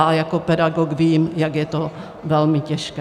A jako pedagog vím, jak je to velmi těžké.